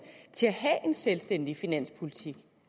til at have en selvstændig finanspolitik